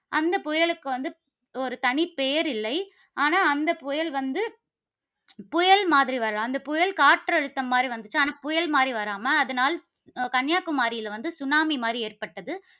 அந்த புயலுக்கு வந்து ஒரு தனி பெயர் இல்லை. ஆனால், அந்த புயல் வந்து புயல் மாதிரி வரல. அந்த புயல் காற்றுழுத்தம் மாதிரி வந்துச்சு. ஆனால், புயல் மாதிரி வராம அதனால், கன்னியாகுமரில வந்து சுனாமி மாதிரி ஏற்பட்டது.